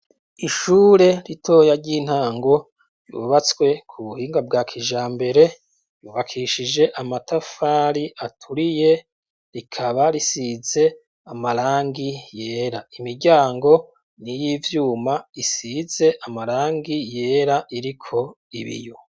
Ishure ritoya ry'intango ryubatswe ku buhinga bwa kijambere, ryubakishije amatafari aturiye, rikaba risize amarangi yera. Imiryango n'iyivyumba isize amarangi yera iriko ibiyo.